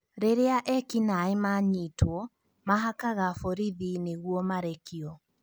Rĩrĩa ekinaĩ manyitwo, mahakaga borithi nĩguo marekio